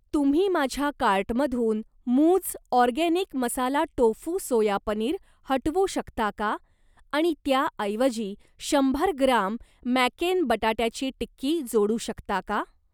तुम्ही माझ्या कार्टमधून मूझ organic masala tofu soya paneer हटवू शकता का आणि त्याऐवजी शंभर ग्राम मॅकेन बटाट्याची टिक्की जोडू शकता का?